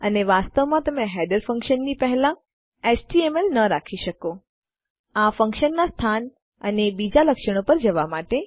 અને વાસ્તવમાં તમે હેડર ફંક્શનની પહેલા એચટીએમએલ ન રાખી શકો આ ફંક્શનનાં સ્થાન અને બીજાં લક્ષણો પર જવા માટે